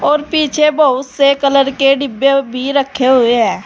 और पीछे बहुत से कलर के डिब्बे भी रखे हुए हैं।